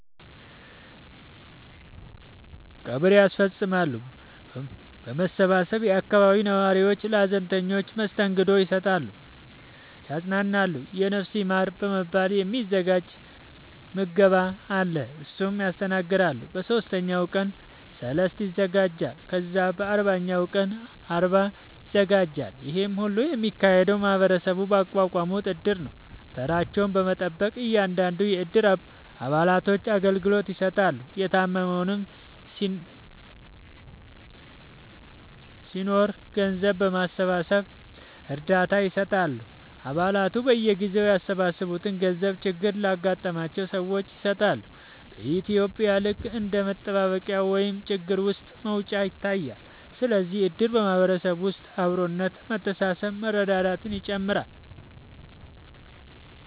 ቀብር ያስፈፅማሉ በመሰባሰብ የአካባቢው ነዋሪዎች ለሀዘንተኞች መስተንግዶ ይሰጣሉ ያፅናናሉ የነፍስ ይማር በመባል የ ሚዘጋጅ ምገባ አለ እሱን ያስተናግዳሉ በ ሶስተኛው ቀን ሰልስት ይዘጋጃል ከዛ በ አርባኛው ቀን አርባ ይዘጋጃል ይሄ ሁሉ የሚካሄደው ማህበረሰቡ ባቋቋሙት እድር ነው ተራቸውን በመጠበቅ እያንዳንዱን የ እድሩ አባላቶች አገልግሎት ይሰጣሉ የታመመም ሲናኖር ገንዘብ በማሰባሰብ እርዳታ ይሰጣሉ አ ባላቱ በየጊዜው ያሰባሰቡትን ገንዘብ ችግር ለገጠማቸው ሰዎች ይሰጣሉ በ ኢትዩጵያ ልክ እንደ መጠባበቂያ ወይም ችግር ውስጥ መውጫ ይታያል ስለዚህም እድር በ ማህበረሰብ ውስጥ አብሮነት መተሳሰብ መረዳዳትን ይጨምራል